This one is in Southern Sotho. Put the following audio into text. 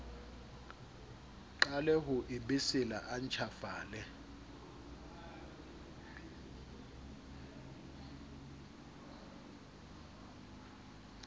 qale ho ebesela a ntjhafale